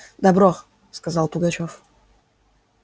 добро сказал пугачёв